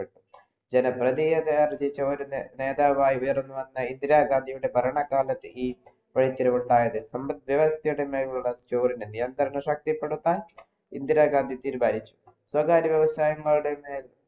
ജന പ്രതിയാത ആർജ്ജിച്ചു വരുന്ന ഒരു നേതാവ് ആയി ഉയർന്നു വന്ന ഇന്ദിര ഗാന്ധിയുടെ ഭരണ കാലത്തു ഈ വഴിത്തിരിവുണ്ടായത് നിയന്ത്രണങ്ങൾ ശക്തിപെടുത്താൻ ഇന്ദിരാഗാന്ധി തീരുമാനിച്ചു സ്വകാര്യ വ്യവസായങ്ങളുടെ മേൽ